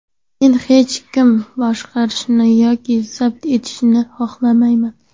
Men hech kimni boshqarishni yoki zabt etishni xohlamayman.